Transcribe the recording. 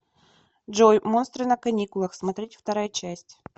джой монстры на каникулах смотреть вторая часть